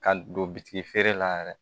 Ka don bitigi feere la yɛrɛ